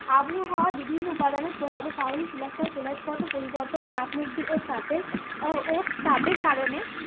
আবহাওয়ার বিভিন্ন উপাদানের প্রভাবে পাললিক শিলা স্তর কেলাস গত চাপ মুক্তি ও ও তাপের কারণে